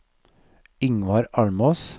Yngvar Almås